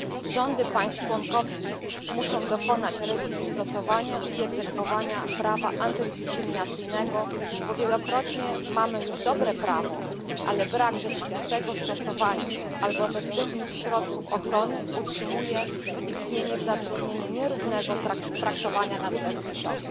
Rządy państw członkowskich muszą dokonać rewizji stosowania i egzekwowania prawa antydyskryminacyjnego, bo wielokrotnie mamy już dobre prawo, ale brak rzeczywistego stosowania albo efektywnych środków ochrony utrzymuje istnienie w zatrudnieniu nierównego traktowania na tle płciowym.